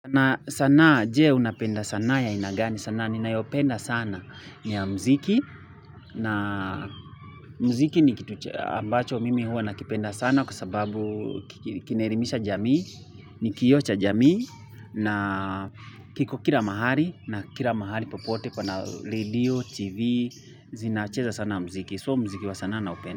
Na sanaa je unapenda sanaa ya aina ya gani sanaa ni nayopenda sana ni ya mziki na mziki ni kitu ambacho mimi huwa na kipenda sana kwa sababu kinerimisha jamii ni kioo cha jamii na kiko kila mahali na kila mahali popote kwa na radio, tv, zinacheza sana mziki so mziki wa sanaa naupenda.